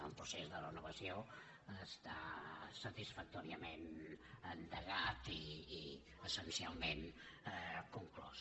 el procés de renovació està satisfactòriament endegat i essencialment conclòs